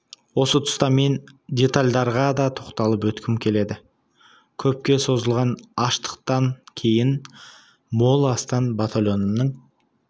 осы тұста мен кейбір детальдарға да тоқталып өткім келеді көпке созылған аштықтан кейін мол астан батальонымның